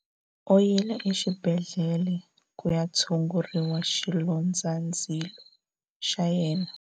U yile exibedhlele ku ya tshungurisa xilondzandzilo xa yena.